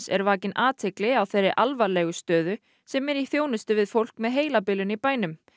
er vakin athygli á þeirri alvarlegu stöðu sem er í þjónustu við fólk með heilabilun í bænum